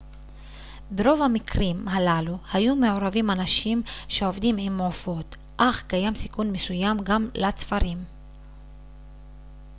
ברוב המקרים הללו היו מעורבים אנשים שעובדים עם עופות אך קיים סיכון מסוים גם לצפרים